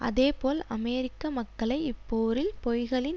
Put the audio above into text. அதேபோல் அமெரிக்க மக்களை இப்போரில் பொய்களின்